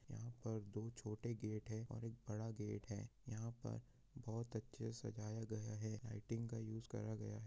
यहां पर दो छोटे गेट है और एक बड़ा गेट है यहां पर बहुत अच्छे से सजाया गया है लाइटिंग का यूज़ करा गया हैं।